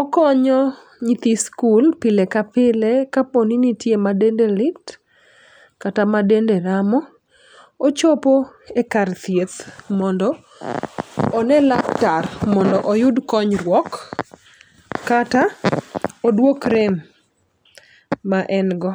okonyo nyithi skul pile ka pile kapo ni nitie ma dende lit kata ma dende ramo. Ochopo e kar thieth mondo one laktar mondo oyud konyurok kata oduok rem ma en go.